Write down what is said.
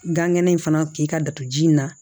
Gan kɛnɛ in fana k'i ka datugu ji in na